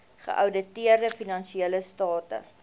geouditeerde finansiële state